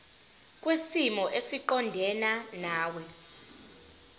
kwisimo esiqondena nawe